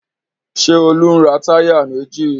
Ṣé Olú ń ra táyà méjì?